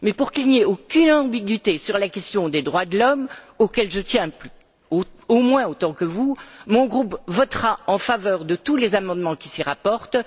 Mais pour qu'il n'y ait aucune ambiguïté sur la question des droits de l'homme, auxquels je tiens au moins autant que vous, mon groupe votera en faveur de tous les amendements qui s'y rapportent.